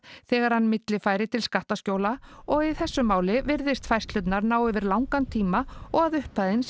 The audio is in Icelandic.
þegar hann millifærir til skattaskjóla og að í þessu máli virðist færslurnar ná yfir langan tíma og að upphæðin